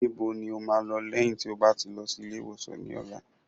Níbo ni o máa lọ lẹ́yìn tí o bá ti lọ sí ilé ìwòsàn ní ọ̀la?